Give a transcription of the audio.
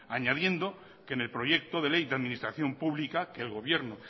añadiendo que en el proyecto de ley de administración publica que el gobierno